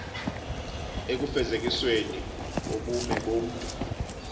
ekufezekisweni kobume bomntu